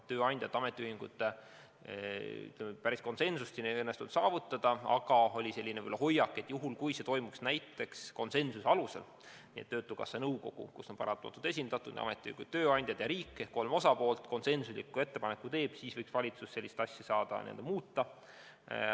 Tööandjate ja ametiühingutega päris konsensust ei õnnestunud saavutada, aga oli selline hoiak, et juhul kui see toimuks näiteks konsensuse alusel, nii et töötukassa nõukogu, kus on esindatud nii ametiühingud kui tööandjad, ja riik ehk siis kolm osapoolt konsensusliku ettepaneku teevad, siis võiks valitsus sellist asja saada muuta.